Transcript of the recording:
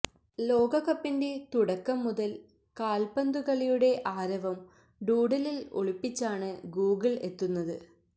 ലോകകപ്പിന്റെ തുടക്കം മുതല് കാല്പ്പന്തുകളിയുടെ ആരവം ഡൂഡിലില് ഒളിപ്പിച്ചാണ് ഗൂഗിള് എത്തുന്നത്